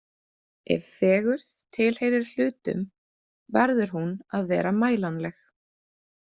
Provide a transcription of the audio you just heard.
Ef fegurð tilheyrir hlutum, verður hún að vera mælanleg.